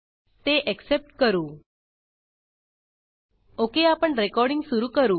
ते एक्सेप्ट करू Okआपण रेकॉर्डींग सुरू करू